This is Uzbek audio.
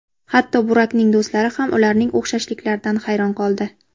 Hatto Burakning do‘stlari ham ularning o‘xshashliklaridan hayron qoldi.